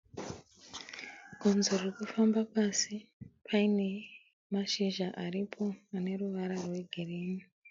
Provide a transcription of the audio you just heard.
Gonzo riri kufamba pasi paine mashizha aripo ane ruvara rwegirinhi.